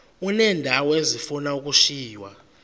uneendawo ezifuna ukushiywa